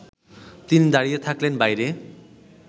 তিনি দাঁড়িয়ে থাকলেন বাইরে